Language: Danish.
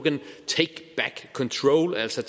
altså